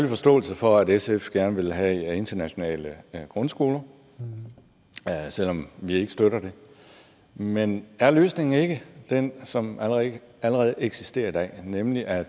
forståelse for at sf gerne vil have internationale grundskoler selv om vi ikke støtter det men er løsningen ikke den som allerede eksisterer i dag nemlig at